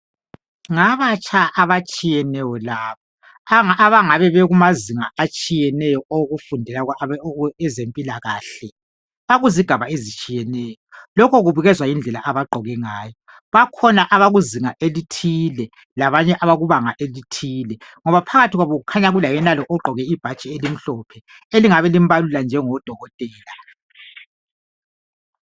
Ngabatsha abatshiyeneyo laba abangabe bekumazinga atshiyeneyo okufundela okwezempilakahle bakuzigaba ezitshiyeneyo lokhu kubukezwa yindlela abagqoke ngayo bakhona abakuzinga elithila labanye abakubanga elithile ngoba phakathi kwabo kukhanya kulaye nalo ogqoke ibhatshi elimhlophe elingabe limbalula njengodokotela